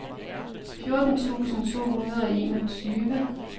fjorten tusind to hundrede og enogtyve